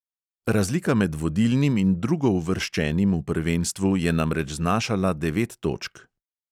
Razlika med vodilnim in drugouvrščenim v prvenstvu je namreč znašala devet točk.